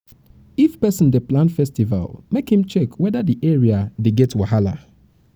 if person dey plan festival make im check weda di area dey get wahala